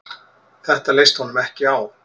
Þetta leist honum ekki á.